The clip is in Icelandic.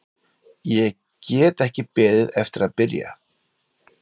Ég get ekki beðið eftir að byrja.